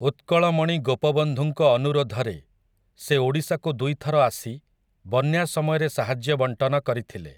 ଉତ୍କଳମଣି ଗୋପବନ୍ଧୁଙ୍କ ଅନୁରୋଧରେ, ସେ ଓଡ଼ିଶାକୁ ଦୁଇଥର ଆସି, ବନ୍ୟା ସମୟରେ ସାହାଯ୍ୟ ବଣ୍ଟନ କରିଥିଲେ ।